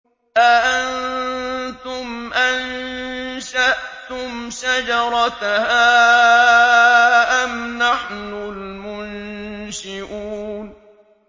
أَأَنتُمْ أَنشَأْتُمْ شَجَرَتَهَا أَمْ نَحْنُ الْمُنشِئُونَ